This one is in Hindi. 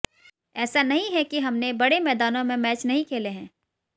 ऐसा नहीं है कि हमने बड़े मैदानों में मैच नहीं खेले हैं